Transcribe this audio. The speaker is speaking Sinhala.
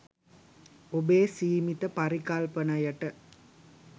ඔබේ සීමිත පරිකල්පනයට